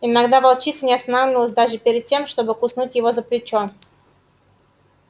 иногда волчица не останавливалась даже перед тем чтобы куснуть его за плечо